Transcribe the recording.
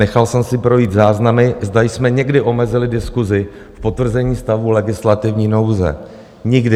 Nechal jsem si projít záznamy, zda jsme někdy omezili diskusi v potvrzení stavu legislativní nouze - nikdy.